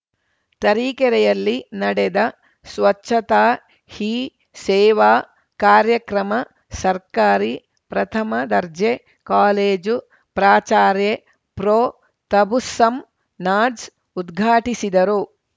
ತರೀಕೆರೆಯಲ್ಲಿ ನಡೆದ ಸ್ವಚ್ಚತಾ ಹಿ ಸೇವಾ ಕಾರ್ಯಕ್ರಮ ಸರ್ಕಾರಿ ಪ್ರಥಮ ದರ್ಜೆ ಕಾಲೇಜು ಪ್ರಾಚಾರ್ಯೆ ಪ್ರೊತಬುಸ್ಸಮ್‌ ನಾಜ್‌ ಉದ್ಘಾಟಿಸಿದರು